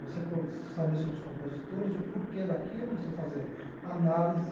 Você com saber sobre os compositores, o porquê daquilo, você fazer análise,